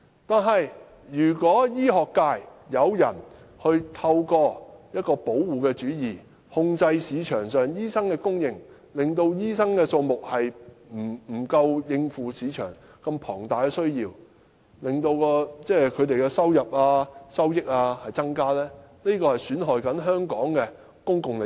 可是，如果醫學界有人透過保護主意，控制市場上醫生的供應，令醫生數目不足以應付市場龐大的需要，致令他們的收入增加，這便是損害香港的公共利益。